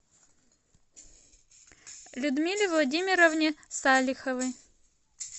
людмиле владимировне салиховой